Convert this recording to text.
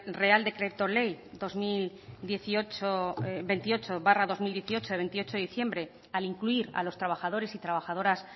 real decreto ley dos mil veintiocho barra dos mil dieciocho de veintiocho de diciembre al incluir a los trabajadores y trabajadoras